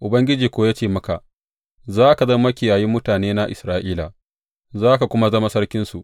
Ubangiji kuwa ya ce maka, Za ka zama makiyayi mutanena Isra’ila, za ka kuma zama sarkinsu.’